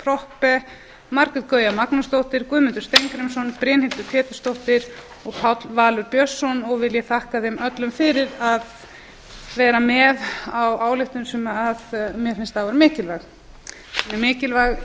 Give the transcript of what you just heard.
proppé margrét gauja magnúsdóttir guðmundur steingrímsson brynhildur pétursdóttir og páll valur björnsson vil ég þakka þeim öllum fyrir að vera með á ályktun sem már finnst afar mikilvæg mjög mikilvæg